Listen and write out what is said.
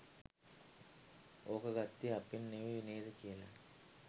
ඕක ගත්තේ අපෙන් නෙවෙයි නේද කියලා..